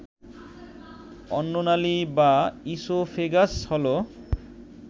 অন্ননালী বা ইসোফেগাস হল